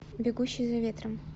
бегущий за ветром